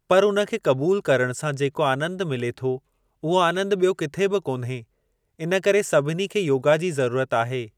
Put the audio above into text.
पर उन खे क़बूल करणु सां जेको आंनद मिले थो, उहो आंनद ॿियो किथे बि कोन्हे। इनकरे सभिनी खे योगा जी ज़रूरत आहे।